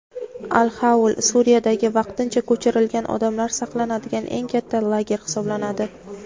"Al-Xaul" – Suriyadagi vaqtincha ko‘chirilgan odamlar saqlanadigan eng katta lager hisoblanadi.